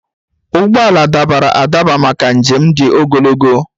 Ụgbọ ala dabara adaba maka njem dị ogologo.